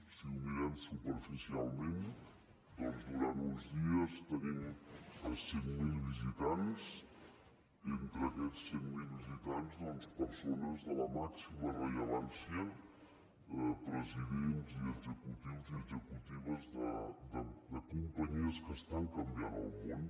si ho mirem superficialment doncs durant uns dies tenim cent mil visitants entre aquests cent mil visitants persones de la màxima rellevància presidents i executius i executives de companyies que estan canviant el món